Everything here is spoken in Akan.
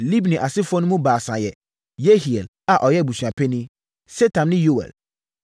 Libni asefoɔ no mu baasa yɛ: Yehiel (a ɔyɛ abusuapanin), Setam ne Yoɛl.